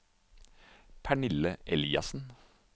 Pernille Eliassen